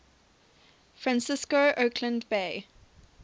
francisco oakland bay